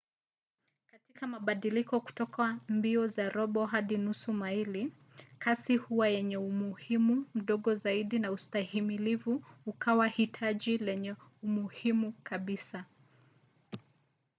kwa mabadiliko kutoka mbio za robo hadi nusu maili kasi huwa yenye umuhimu mdogo zaidi na ustahimilivu ukawa hitaji lenye umuhimu kabisa